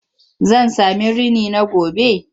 Zan sami rini na gobe?